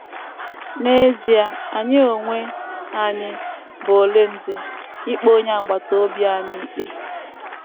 N’ezie, ‘ anyị onwe anyị bụ ole ndị, ikpe onye agbata obi anyị ikpe? ’